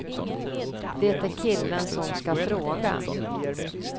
Det är killen som ska fråga.